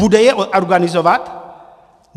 Bude je organizovat?